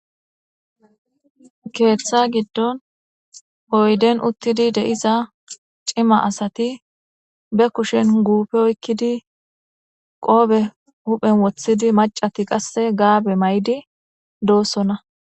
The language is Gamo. keeththa giddon oyden uttidi dei'iza cima asati be kushen guufe oykkidi qoobe huphen wothidi macati qasse gaabe may7idi doossonna